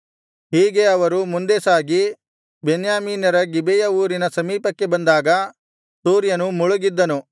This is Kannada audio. ಹೀಗೆ ಅವರು ಮುಂದೆ ಸಾಗಿ ಬೆನ್ಯಾಮೀನ್ಯರ ಗಿಬೆಯ ಊರಿನ ಸಮೀಪಕ್ಕೆ ಬಂದಾಗ ಸೂರ್ಯನು ಮುಳುಗಿದ್ದನು